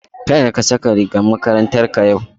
Kada ka saka rigar makarantarka yau.